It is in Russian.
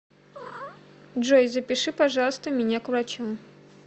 джой запиши пожалуйста меня к врачу